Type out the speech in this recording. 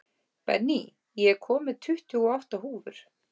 Benný, ég kom með tuttugu og átta húfur!